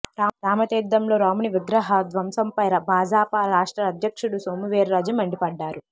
రామతీర్థంలో రాముని విగ్రహ ధ్వంసంపై భాజపా రాష్ట్ర అధ్యక్షుడు సోము వీర్రాజు మండిపడ్డారు